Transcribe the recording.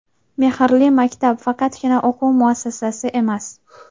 "Mehrli maktab" – faqatgina o‘quv muassasasi emas.